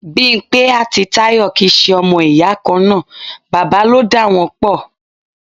Bimpe àti Tayọ kì í ṣe ọmọ ìyá kan náà, bàbá ló dá wọn pò.